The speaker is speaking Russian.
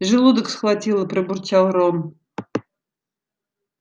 желудок схватило пробурчал рон